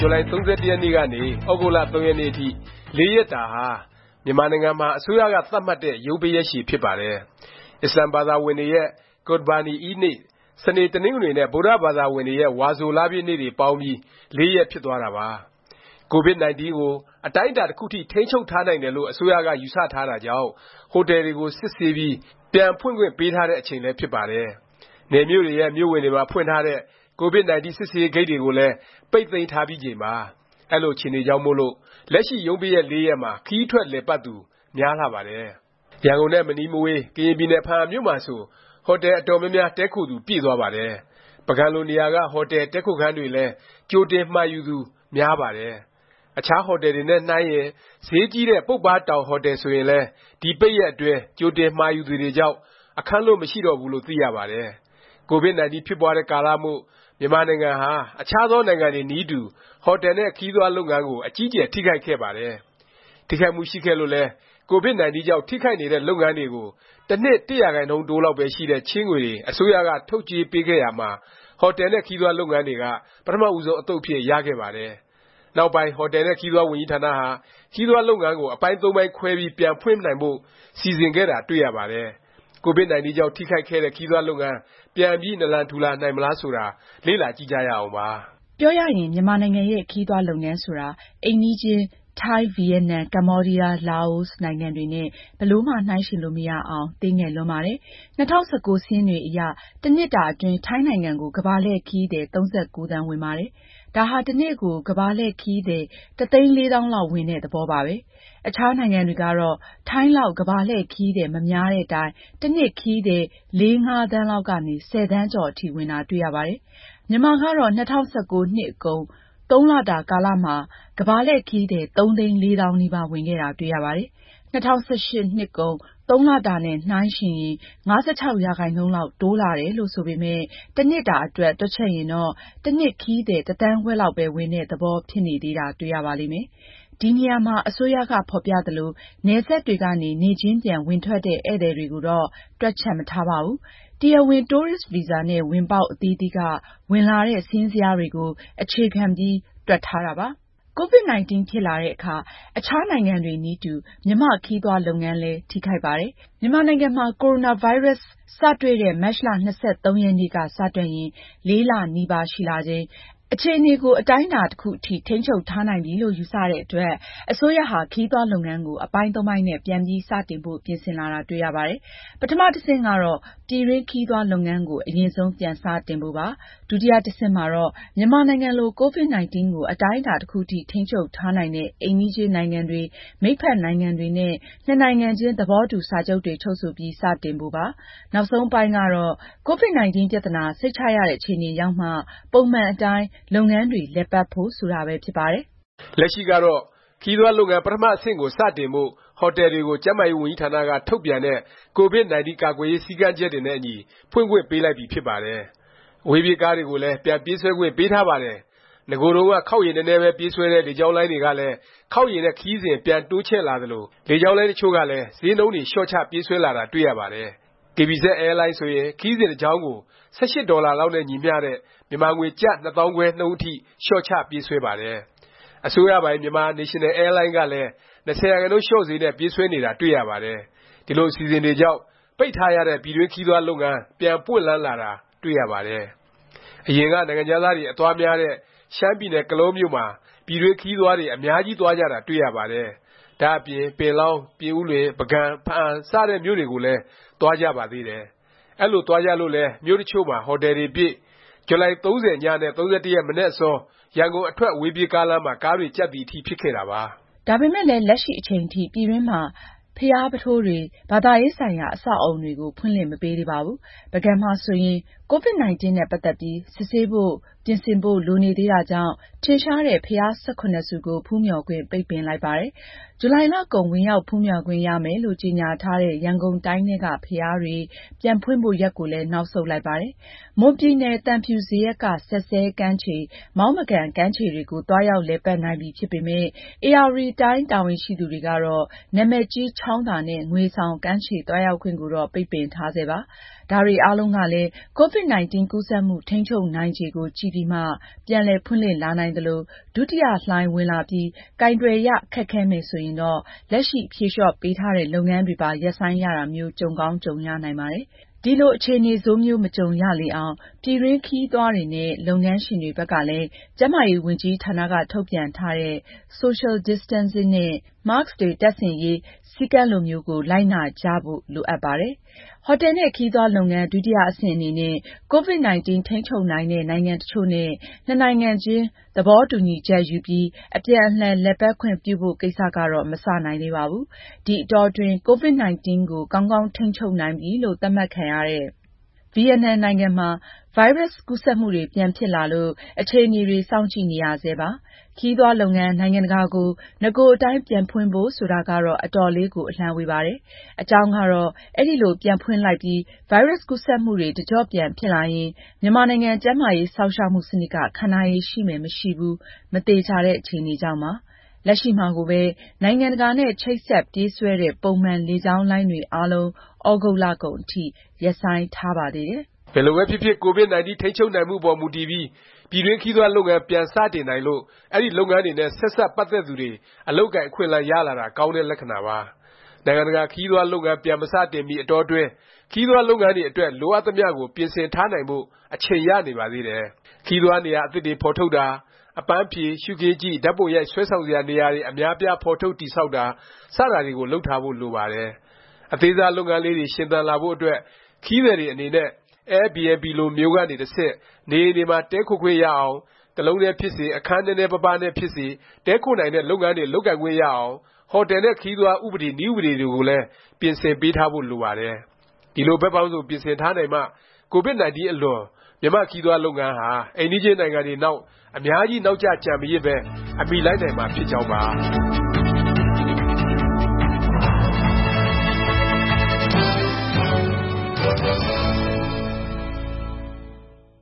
ဇူလိုင် ၃၁ ရက်နေ့ကနေ ၃ ရက်နေ့အထိ (၄) ရက်တာဟာ မြန်မာနိုင်ငံမှာ အစိုးရက သတ်မှတ်တဲ့ ရုံးပိတ်ရက်ရှည် ဖြစ်ပါတယ်။ အစ္စလာမ်ဘာသာဝင်တွေရဲ့ ကုရ်ဘာနီအီးဒ်နေ့၊ စနေ၊ တနင်္ဂနွေ နဲ့ ဗုဒ္ဓဘာသာဝင်တွေရဲ့ ဝါဆိုလပြည့်နေ့ တွေပေါင်းပြီး ၄ ရက်ဖြစ်သွားတာပါ။ ကိုဗစ်-19 ကို အတိုင်းအတာ တစ်ခုအထိ ထိန်းချုပ်ထားနိုင်တယ်လို့ အစိုးရက ယူဆထားတာကြောင့် ဟိုတယ်တွေကို စစ်ဆေးပြီး ပြန်ဖွင့်ခွင့်ပေးထားတဲ့ အချိန်လည်း ဖြစ်ပါတယ်။ နယ်မြို့တွေရဲ့ မြို့ဝင်တွေမှာ ဖွင့်ထားတဲ့ ကိုဗစ်-19 စစ်ဆေးရေး ဂိတ်တွေကိုလည်း ပိတ်သိမ်းထားပြီးချိန်ပါ။ အဲလို အခြေအနေတွေကြောင့်မို့လို့ လက်ရှိ ရုံးပိတ်ရက် ၄ ရက်မှာ ခရီးထွက် လည်ပတ်သူ များလှပါတယ်။ ရန်ကုန်နဲ့ မနီးမဝေး ကရင်ပြည်နယ် ဘားအံမြို့မှာဆို ဟိုတယ် အတော်များများ တည်းခိုသူ ပြည့်သွားပါတယ်။ ပုဂံလိုနေရာက ဟိုတယ်၊ တည်းခိုခန်းတွေလည်း ကြိုတင်မှာယူသူ များပါတယ်။ အခြားဟိုတယ်တွေနဲ့ နှိုင်းရင် ဈေးကြီးတဲ့ ပုပ္ပါးတောင်ဟိုတယ်ဆိုရင်လည်း ဒီ ပိတ်ရက်အတွင်း ကြိုတင်မှာယူသူတွေကြောင့် အခန်းလွတ် မရှိတော့ဘူးလို့ သိရပါတယ်။ ကိုဗစ်-19 ဖြစ်ပွားတဲ့ကာလမို့ မြန်မာနိုင်ငံဟာ အခြားသောနိုင်ငံတွေနည်းတူ ဟိုတယ်နဲ့ ခရီးသွားလုပ်ငန်းကို အကြီးအကျယ် ထိခိုက်ခဲ့ပါတယ်။ ထိခိုက်မှု ရှိခဲ့လို့လည်း ကိုဗစ်-19 ကြောင့် ထိခိုက်နေတဲ့ လုပ်ငန်းတွေကို တစ်နှစ် ၁% တိုးလောက်ပဲ ရှိတဲ့ ချေးငွေတွေ အစိုးရက ထုတ်ချေးပေးခဲ့ရာမှာ ဟိုတယ်နဲ့ ခရီးသွားလုပ်ငန်းတွေက ပထမဦးဆုံး အသုတ်အဖြစ် ရခဲ့ပါတယ်။ နောက်ပိုင်း ဟိုတယ်နဲ့ ခရီးသွားဝန်ကြီးဌာနဟာ ခရီးသွားလုပ်ငန်းကို အပိုင်း(၃)ပိုင်းခွဲပြီး ပြန် ဖွင့်နိုင်ဖို့ စီစဉ်ခဲ့တာ တွေ့ရပါတယ်။ ကိုဗစ်-19 ကြောင့် ထိခိုက်ခဲ့တဲ့ ခရီးသွားလုပ်ငန်း ပြန်ပြီး နာလံထူလာနိုင်မလား ဆိုတာ လေ့လာကြည့်ကြရအောင်ပါ။ ပြောရရင် မြန်မာနိုင်ငံရဲ့ ခရီးသွားလုပ်ငန်းဆိုတာ အိမ်နီးချင်း ထိုင်း၊ ဗီယက်နမ်၊ ကမ္ဘောဒီးယား၊ လာအိုနိုင်ငံတွေနဲ့ ဘယ်လိုမှ နှိုင်းယှဉ်လို့ မရအောင် သေးငယ်လွန်းပါတယ်။ ၂၀၁၉ စာရင်းတွေအရ တစ်နှစ်တာ အတွင်း ထိုင်းနိုင်ငံကို ကမ္ဘာလှည့်ခရီးသည် ၃၉ သန်းဝင်ပါတယ်။ ဒါဟာ တစ်နေ့ကို ကမ္ဘာလှည့်ခရီးသည် ၁၄၀၀၀၀ (တသိန်းလေးသောင်း) လောက် ဝင်တဲ့ သဘောပါပဲ။ အခြားနိုင်ငံတွေကတော့ ထိုင်းလောက် ကမ္ဘာလှည့်ခရီးသည် မများသည့်တိုင် တစ်နှစ် ခရီးသည် ၄-၅ သန်းလောက်ကနေ ၁၀ သန်းကျော်အထိ ဝင်တာ တွေ့ရပါတယ်။ မြန်မာကတော့ ၂၀၁၉ နှစ်ကုန် သုံးလတာ ကာလမှာ ကမ္ဘာလှည့်ခရီးသည် ၃ သိန်း ၄ သောင်းနီးပါး ဝင်ခဲ့တာ တွေ့ရပါတယ်။ ၂၀၁၈ နှစ်ကုန် ၃ လတာနဲ့ နှိုင်းရင် ၅၆% လောက် တိုးတက်လာတယ်လို့ ဆိုပေမယ့် တစ်နှစ်တာအတွက် တွက်ချက်ရင်တော့ တစ်နှစ် ခရီးသည် တစ်သန်းခွဲလောက်ပဲ ဝင်တဲ့ သဘောဖြစ်နေသေးတာ တွေ့ရပါလိမ့်မယ်။ ဒီနေရာမှာ အစိုးရက ဖော်ပြသလို၊ နယ်စပ်တွေကနေ နေ့ချင်းပြန် ဝင်ထွက်တဲ့ ဧည့်သည်တွေကိုတော့ တွက်ချက်မထားပါဘူး။ တရားဝင် တိုးရစ်ဗီဇာနဲ့ ဝင်ပေါက် အသီးသီးက ဝင်လာတဲ့ စာရင်းဇယားတွေကို အခြေခံပြီး တွက်ထားတာပါ။ ကိုဗစ်-19 ဖြစ်လာတဲ့အခါ အခြားနိုင်ငံတွေနည်းတူ မြန်မာ့ ခရီးသွားလုပ်ငန်းလည်း ထိခိုက်ပါတယ်။ မြန်မာနိုင်ငံမှာ ကိုဗစ်-19 စတွေ့တဲ့ မတ်လ ၂၃ ရက်နေ့က စတွက်ရင် ၄ လ နီးပါးရှိလာချိန်၊ အခြေအနေကို အတိုင်းအတာ တစ်ခုအထိ ထိန်းချုပ်ထားနိုင်ပြီလို့ ယူဆတဲ့အတွက် အစိုးရဟာ ခရီးသွားလုပ်ငန်းကို အပိုင်း ၃ ပိုင်းနဲ့ ပြန်ပြီး စတင်ဖို့ ပြင်ဆင်လာတာ တွေ့ရပါတယ်။ ပထမ တဆင့်ကတော့ ပြည်တွင်း ခရီးသွားလုပ်ငန်းကို အရင်ဆုံး ပြန်စတင်ဖို့ပါ။ ဒုတိယ အဆင့်မှာတော့ မြန်မာနိုင်ငံလို ကိုဗစ်-19 ကို အတိုင်းအတာ တစ်ခုအထိ ထိန်းချုပ်ထားနိုင်တဲ့ အိမ်နီးချင်းနိုင်ငံတွေ၊ မိတ်ဖက် နိုင်ငံတွေနဲ့ နှစ်နိုင်ငံချင်း သဘောတူ စာချုပ်တွေ ချုပ်ဆိုပြီး စတင်ဖို့ပါ။ နောက်ဆုံးအပိုင်းကတော့ ကိုဗစ်-19 ပြသနာ စိတ်ချရတဲ့ အခြေအနေရောက်မှ ပုံမှန်အတိုင်း လုပ်ငန်းတွေလည်ပတ်ဖို့ ဆိုတာပဲ ဖြစ်ပါတယ်။ လက်ရှိကတော့ ခရီးသွားလုပ်ငန်း ပထမ အဆင့်ကို စတင်ဖို့ ဟိုတယ်တွေကို ကျန်းမာရေးဝန်ကြီးဌာနက ထုတ်ပြန်တဲ့ ကိုဗစ်-19 ကာကွယ်ရေး စည်းကမ်းချက်တွေနဲ့အညီ ဖွင့်ခွင့်ပေးလိုက်ပြီဖြစ်ပါတယ်။ အဝေးပြေးကားတွေကိုလည်း ပြန်ပြေးဆွဲခွင့်ပေးထားပါတယ်။ နဂိုတုန်းက ခေါက်ရေနည်းနည်းပဲ ပြေးဆွဲတဲ့ လေကြောင်းလိုင်းတွေကလည်း ခေါက်ရေနဲ့ ခရီးစဉ် ပြန်တိုးချဲ့လာသလို လေကြောင်းလိုင်းတစ်ချို့လည်း ဈေးနှုန်းတွေ လျော့ချ ပြေးဆွဲလာတာ တွေ့ရပါတယ်။ KBZ အဲလိုင်းဆိုရင် ခရီးစဉ်တစ်ကြောင်းကို ၁၈ ဒေါ်လာလောက်နဲ့ ညီမျှတဲ့ မြန်မာငွေ ကျပ် ၂၅၀၀၀ နှုန်းအထိ လျော့ချပြေးဆွဲပါတယ်။ အစိုးရပိုင် Myanmar National Airline ကလည်း ၂၀% လျော့ဈေးနဲ့ ပြေးဆွဲနေတာ တွေ့ရပါတယ်။ ဒီလို အစီအစဉ်တွေကြောင့် ပိတ်ထားရတဲ့ ပြည်တွင်းခရီးသွားလုပ်ငန်း ပြန်ပွင့်လန်းလာတာ တွေ့ရပါတယ်။ အရင်က နိုင်ငံခြားသားတွေ အသွားများတဲ့ ရှမ်းပြည်နယ် ကလောမြို့မှာ ပြည်တွင်းခရီးသွားတွေ အများကြီးသွားကြတာ တွေ့ရပါတယ်။ ဒါ့အပြင် ပင်လောင်း၊ ပြင်ဦးလွင်၊ ပုဂံ၊ ဘားအံစတဲ့ မြို့တွေကိုလည်း သွားကြပါတယ်။ အဲလို သွားကြလို့လည်း မြို့တစ်ချို့မှာ ဟိုတယ်တွေပြည့်၊ ဇူလိုင် ၃၀ ည နဲ့ ၃၁ မနက်အစော ရန်ကုန်အထွက် အဝေးပြေးကားလမ်းမှာ ကားတွေကြပ်သည် အထိ ဖြစ်ခဲ့တာပါ။ ဒါပေမယ့်လည်း လက်ရှိအချိန်ထိ ပြည်တွင်းမှာ ဘုရားပုထိုးတွေ၊ ဘာသာရေးဆိုင်ရာ အဆောက်အဦတွေကို ဖွင့်လှစ် မပေးသေးပါဘူး။ ပုဂံမှာဆိုရင် ကိုဗစ်-19 နဲ့ ပတ်သက်ပြီး စစ်ဆေးဖို့ ပြင်ဆင်ဖို့ လိုနေသေးတာကြောင့် ထင်ရှားတဲ့ ဘုရား ၁၇ ဆူကို ဖူးမျှော်ခွင့် ပိတ်ပင်လိုက်ပါတယ်။ ဇူလိုင်လကုန် ဝင်ရောက်ဖူးမျှော်ခွင့်ရမယ်လို့ ကြေငြာထားတဲ့ ရန်ကုန်တိုင်းထဲက ဘုရားတွေ ပြန်ဖွင့်ဖို့ ရက်ကိုလည်း နောက်ဆုတ်လိုက်ပါတယ်။ မွန်ပြည်နယ် သံဖြူဇရပ်က စက်စဲကမ်းခြေ၊ မောင်းမကန် ကမ်းခြေတွေကို သွားရောက်လည်ပတ်နိုင်ပြီ ဖြစ်ပေမယ့် ဧရာဝတီတိုင်းတာဝန်ရှိသူတွေကတော့ နာမည်ကြီး ချောင်းသာနဲ့ ငွေဆောင် ကမ်းခြေ သွားရောက်ခွင့်ကိုတော့ ပိတ်ပင်ထားဆဲပါ။ ဒါတွေအားလုံးကလည်း ကိုဗစ်-19 ကူးစက်မှု ထိန်းချုပ်နိုင်ခြေကို ကြည့်ပြီးမှ ပြန်လည်ဖွင့်လှစ်လာနိုင်သလို၊ ဒုတိယလှိုင်း ဝင်လာပြီး ကိုင်တွယ်ရ ခက်ခဲမယ် ဆိုရင်တော့ လက်ရှိ ဖြေလျော့ပေးထားတဲ့ လုပ်ငန်းတွေပါ ရပ်ဆိုင်းရတာမျိုး ကြုံကောင်း ကြုံရနိုင်ပါတယ်။ ဒီလို အခြေအနေဆိုးမျိုး မကြုံရလေအောင် ပြည်တွင်းခရီးသွားတွေနဲ့ လုပ်ငန်းရှင်တွေဘက်ကလည်း ကျန်းမာရေးဝန်ကြီးဌာနက ထုတ်ပြန်ထားတဲ့ social distancing နဲ့ Mask တပ်ဆင်ရေး စည်းကမ်းလိုမျိုးကို လိုက်နာကြဖို့ လိုအပ်ပါတယ်။ ဟိုတယ်နဲ့ ခရီးသွားလုပ်ငန်း ဒုတိယ အဆင့်အနေနဲ့ ကိုဗစ်-19 ထိန်းချုပ်နိုင်တဲ့ နိုင်ငံတစ်ချို့နဲ့ နှစ်နိုင်ငံချင်း သဘောတူညီချက်ယူပြီး အပြန်အလှန် လည်ပတ်ခွင့်ပြုဖို့ ကိစ္စကတော့ မစနိုင်သေးပါဘူး။ ဒီအတောအတွင်း ကိုဗစ်-19 ကို ကောင်းကောင်းထိန်းချုပ်နိုင်ပြီလို့ သတ်မှတ်ခံရတဲ့ ဗီယက်နမ်နိုင်ငံမှာ ဗိုင်းရပ်စ် ကူးစက်မှုတွေ ပြန်ဖြစ်လာလို့ အခြေအနေတွေ စောင့်ကြည့်နေရဆဲပါ။ ခရီးသွားလုပ်ငန်း နိုင်ငံတကာကို နဂိုအတိုင်း ပြန်ဖွင့်ဖို့ ဆိုတာကတော့ အတော်လေးကို အလှမ်းဝေးပါတယ်။ အကြောင်းကတော့ အဲလို ပြန်ဖွင့်လိုက်ပြီး ဗိုင်းရပ်စ် ကူးစက်မှုတွေ တစ်ကျော့ပြန်ဖြစ်လာရင် မြန်မာနိုင်ငံ ကျန်းမာရေး စောင့်ရှောက်မှု စနစ်က ခံနိုင်ရည် ရှိမယ်၊ မရှိဘူး မသေခြာတဲ့ အခြေအနေကြောင့်ပါ။ လက်ရှိမှာကိုပဲ နိုင်ငံတကာနဲ့ ချိတ်ဆက်ပြေးဆွဲတဲ့ ပုံမှန် လေကြောင်းလိုင်းတွေအားလုံး သြဂုတ်လကုန်အထိ ရပ်ဆိုင်းထားပါသေးတယ်။ ဘယ်လိုပဲဖြစ်ဖြစ် ကိုဗစ်-19 ထိန်းချုပ်နိုင်မှုအပေါ်မူတည်ပြီး ပြည်တွင်းခရီးသွားလုပ်ငန်း ပြန်စတင်နိုင်လို့ အဲဒီလုပ်ငန်းတွေနဲ့ ဆက်စပ်ပတ်သက်သူတွေ အလုပ်အကိုင် အခွင့်အလမ်း ရလာတာကောင်းတဲ့ လက္ခဏာပါ။ နိုင်ငံတကာ ခရီးသွားလုပ်ငန်း ပြန်မစတင်မီ အတောအတွင်း ခရီးသွားလုပ်ငန်းအတွက် လိုအပ်သမျှကို ပြင်ဆင်ထားနိုင်ဖို့ အချိန်ရနေပါသေးတယ်။ ခရီးသွားနေရာ အသစ်တွေ ဖော်ထုတ်တာ၊ အပန်းဖြေ၊ ရှုခင်းကြည့်၊ ဓာတ်ပုံရိုက် ဆွဲဆောင်စရာ နေရာတွေ အများအပြား ဖော်ထုတ် တည်ဆောက်တာ စတာတွေကို လုပ်ထားဖို့ လိုပါတယ်။ အသေးစား လုပ်ငန်းလေးတွေ ရှင်သန်လာဖို့ အတွက်၊ ခရီးသည်တွေ အနေနဲ့ Airbnb လိုမျိုးကနေ တဆင့် နေအိမ်တွေမှာ တည်းခိုခွင့်ရအောင်၊ တစ်လုံးတည်းဖြစ်စေ၊ အခန်းနည်းနည်းပါးပါးနဲ့ဖြစ်စေ တည်းခိုနိုင်တဲ့ လုပ်ငန်းတွေ လုပ်ခွင့်ရအောင် ဟိုတယ်နဲ့ ခရီးသွား ဥပဒေ၊ နည်းဥပဒေ တွေကိုလည်း ပြင်ဆင်ပေးထားဖို့ လိုပါတယ်။ ဒီလို ဘက်ပေါင်းစုံ ပြင်ဆင်ထားနိုင်မှ ကိုဗစ်-19 အလွန် မြန်မာ့ခရီးသွားလုပ်ငန်းဟာ အိမ်နီးချင်းနိုင်ငံတွေနောက် အများကြီး နောက်ကျ ကျန်မရစ်ပဲ အမှီလိုက်နိုင်မှာ ဖြစ်ကြောင်းပါ။